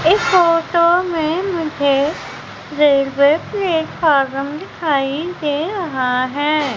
इस फोटो में मुझे रेलवे प्लेटफार्म दिखाई दे रहा है।